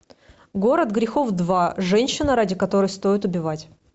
город грехов два женщина ради которой стоит убивать